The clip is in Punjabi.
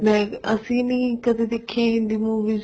ਅਸੀਂ ਨੀ ਦੇਖੀ ਹਿੰਦੀ movies